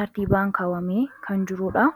tartii baankaawamee kan jiruudha